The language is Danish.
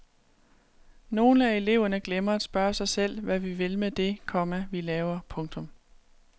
Nogle af eleverne glemmer at spørge sig selv hvad vi vil med det, komma vi laver. punktum